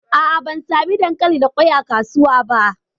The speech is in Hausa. A'a, ban sami dankali da kwai a kasuwan ba.